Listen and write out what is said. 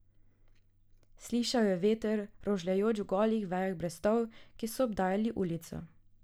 Slišal je veter, rožljajoč v golih vejah brestov, ki so obdajali ulico.